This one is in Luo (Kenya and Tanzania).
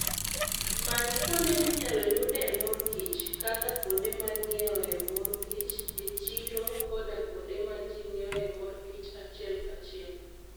Many kuonde minyalo yudee mor kich, kaka kuonde ma ng'iewoe mor kich, e chiro, koda kuonde ma ji ng'iewoe mor kich achiel kachiel.